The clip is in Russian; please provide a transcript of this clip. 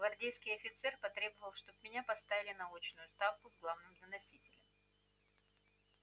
гвардейский офицер потребовал чтоб меня поставили на очную ставку с главным доносителем